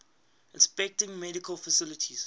inspecting medical facilities